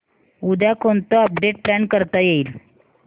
उद्या कोणतं update plan करता येईल